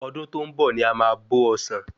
Ọdún tó ń bọ ní a má bò osan